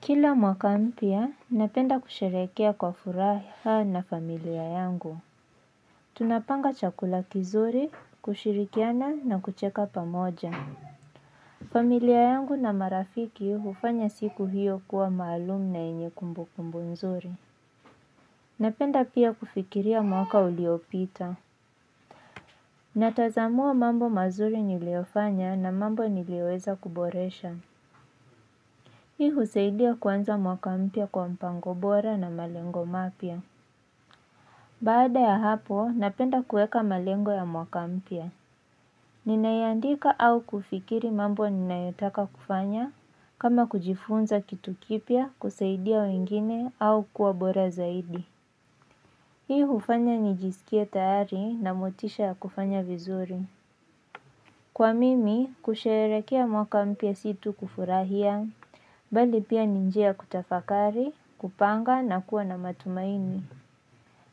Kila mwaka mpya napenda kusherehekea kwa furaha na familia yangu. Tunapanga chakula kizuri, kushirikiana na kucheka pamoja. Familia yangu na marafiki hufanya siku hiyo kuwa maalumu na yenye kumbukumbu nzuri. Napenda pia kufikiria mwaka uliopita. Natazamua mambo mazuri niliofanya na mambo nilioweza kuboresha. Hii husaidia kwanza mwaka mpya kwa mpango bora na malengo mapya. Baada ya hapo, napenda kueka malengo ya mwaka mpya. Ninayandika au kufikiri mambo ninayotaka kufanya, kama kujifunza kitu kipya, kusaidia wengine, au kuwa bora zaidi. Hii hufanya nijisikie tayari na motisha ya kufanya vizuri. Kwa mimi, kusheherekea mwaka mpya situ kufurahia, bali pia ni njia kutafakari, kupanga na kuwa na matumaini.